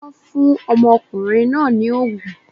Wọn fún ọmọkùnrin náà ní ògùn